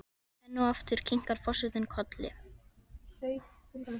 Enn og aftur kinkar forsetinn kolli.